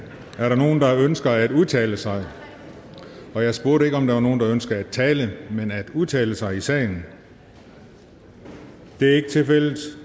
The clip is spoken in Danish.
er der nogen der ønsker at udtale sig og jeg spurgte ikke om der var nogen der ønskede at tale men at udtale sig i sagen det er ikke tilfældet